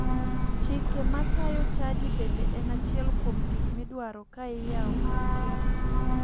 Chike ma tayo chadi bende en achiel kuom gik midwaro ka iyawo kar keno.